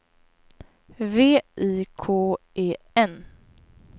V I K E N